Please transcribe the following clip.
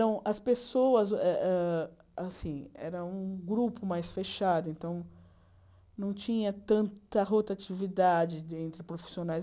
Então as pessoas eh eh assim era um grupo mais fechado, então não tinha tanta rotatividade entre profissionais.